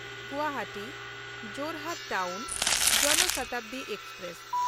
Guwahati Jorhat town ᱡᱚᱱ ᱥᱚᱛᱟᱵᱽᱫᱤ express